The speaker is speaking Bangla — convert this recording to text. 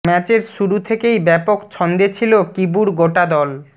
ম্যাচের শুরু থেকেই ব্যাপক ছন্দে ছিল কিবুর গোটা দল